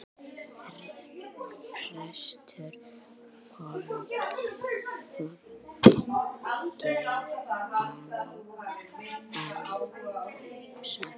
Prestur Þorgeir Arason.